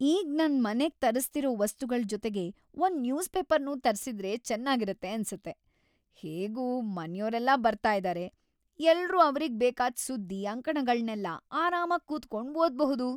ಈಗ್ ನನ್ ಮನೆಗ್ ತರಿಸ್ತಿರೋ ವಸ್ತುಗಳ್‌ ಜೊತೆಗೆ ಒಂದ್‌ ನ್ಯೂಸ್‌ ಪೇಪರ್ನೂ ತರ್ಸಿದ್ರೆ ಚೆನಾಗಿರತ್ತೆ ಅನ್ಸತ್ತೆ! ಹೇಗೂ ಮನ್ಯೋರೆಲ್ಲ ಬರ್ತಾ ಇದಾರೆ, ಎಲ್ರೂ ಅವ್ರಿಗ್‌ ಬೇಕಾದ್‌ ಸುದ್ದಿ, ಅಂಕಣಗಳ್ನೆಲ್ಲ ಆರಾಮಾಗ್‌ ಕೂತ್ಕೊಂಡ್‌ ಓದ್ಬಹುದು.